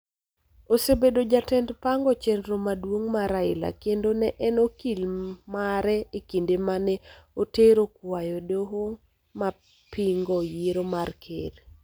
Osebedo jatend pango chenro maduong� mar Raila kendo ne en okil mare e kinde ma ne otero kwayo e doho ma pingo yiero mar Ker.